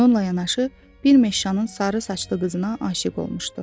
Bununla yanaşı bir meşşanın sarı saçlı qızına aşiq olmuşdu.